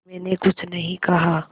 मैंने कुछ नहीं कहा